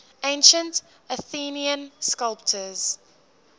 ancient athenian sculptors